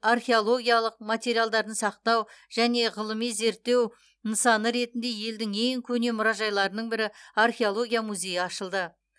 археологиялық материалдарын сақтау және ғылыми зерттеу нысаны ретінде елдің ең көне мұражайларының бірі археология музейі ашылды